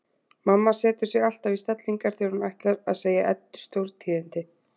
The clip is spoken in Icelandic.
Mamma setur sig alltaf í stellingar þegar hún ætlar að segja Eddu stórtíðindi.